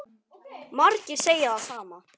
Margir segja það sama.